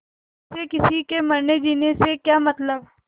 उसे किसी के मरनेजीने से क्या मतलब